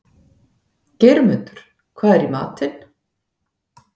Geirmundur, hvað er í matinn?